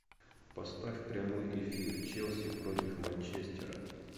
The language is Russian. поставь прямой эфир челси против манчестера